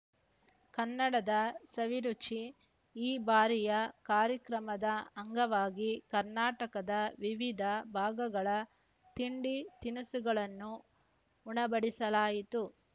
ಕನ್ನಡದ ಸವಿರುಚಿ ಈ ಬಾರಿಯ ಕಾರ್ಯಕ್ರಮದ ಅಂಗವಾಗಿ ಕರ್ನಾಟಕದ ವಿವಿಧ ಭಾಗಗಳ ತಿಂಡಿ ತಿನಿಸುಗಳನ್ನು ಉಣಬಡಿಸಲಾಯಿತು